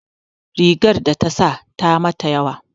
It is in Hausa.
Rigar da ta sa ta mata yawa